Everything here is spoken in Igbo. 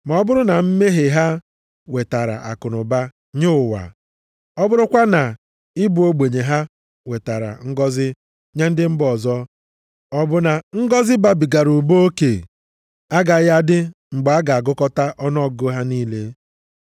Ma ọ bụrụ na mmehie ha wetara akụnụba nye ụwa, ọ bụrụkwa na ịbụ ogbenye ha wetara ngọzị nye ndị mba ọzọ, ọ bụ na ngọzị babigara ụba oke agaghị adị mgbe a ga-agụkọta ọnụọgụgụ ha niile?